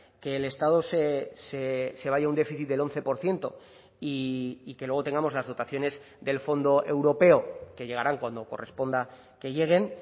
que el estado se vaya a un déficit del once por ciento y que luego tengamos las dotaciones del fondo europeo que llegarán cuando corresponda que lleguen